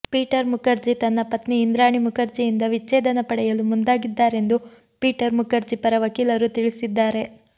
Peter Mukherjee ತನ್ನ ಪತ್ನಿ ಇಂದ್ರಾಣಿ ಮುಖರ್ಜಿಯಿಂದ ವಿಚ್ಚೇದನ ಪಡೆಯಲು ಮುಂದಾಗಿದ್ದಾರೆಂದು ಪೀಟರ್ ಮುಖರ್ಜಿ ಪರ ವಕೀಲರು ತಿಳಿಸಿದ್ದಾರೆ